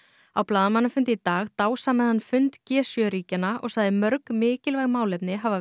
á blaðamannafundi í dag dásamaði hann fund g sjö ríkjanna sagði mörg mikilvæg málefni hafa